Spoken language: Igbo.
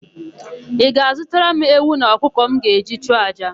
Ị ga-azụtara m ewu na ọkụkọ m ga-eji chụọ àjà?